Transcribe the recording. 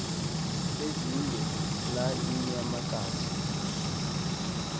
ezinge la iinyamakazi